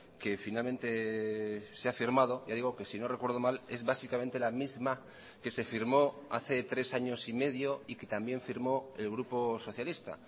que finalmente se ha firmado ya digo que si no recuerdo mal es básicamente la misma que se firmó hace tres años y medio y que también firmó el grupo socialista